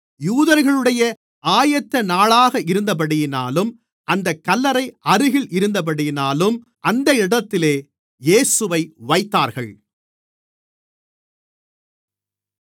யூதர்களுடைய ஆயத்தநாளாக இருந்தபடியினாலும் அந்தக் கல்லறை அருகில் இருந்தபடியினாலும் அந்த இடத்திலே இயேசுவை வைத்தார்கள்